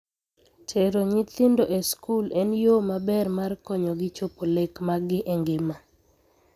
Tero nyithindo e skul en yoo maber mar konyogi chopo lek maggi e ngima.